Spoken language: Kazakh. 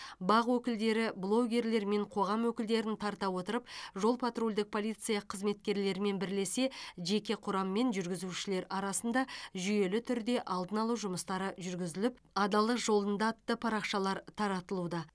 бақ өкілдері блогерлер мен қоғам өкілдерін тарта отырып жол патрульдік полиция қызметкерлерімен бірлесе жеке құрам мен жүргізушілер арасында жүйелі түрде алдын алу жұмыстары жүргізіліп адалдық жолында парақшалары таратылуда